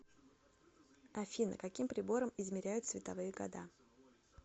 афина каким прибором измеряют световые года